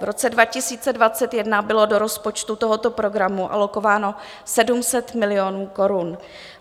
V roce 2021 bylo do rozpočtu tohoto programu alokováno 700 milionů korun.